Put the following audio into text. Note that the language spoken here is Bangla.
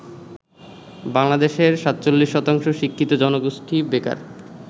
বাংলাদেশের ৪৭ শতাংশ শিক্ষিত জনগোষ্ঠী বেকার।